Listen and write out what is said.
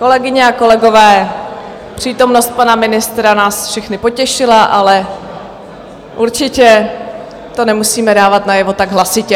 Kolegyně a kolegové, přítomnost pana ministra nás všechny potěšila, ale určitě to nemusíme dávat najevo tak hlasitě.